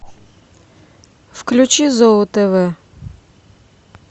включи зоо тв